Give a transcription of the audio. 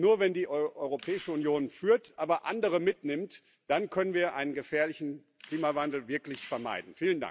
Denn nur, wenn die Europäische Union führt, aber andere mitnimmt, dann können wir einen gefährlichen Klimawandel wirklich vermeiden.